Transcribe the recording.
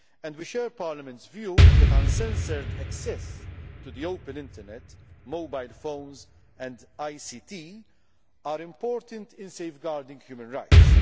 We share Parliament's view that uncensored access to the open internet, mobile phones and ICT are important in safeguarding human rights.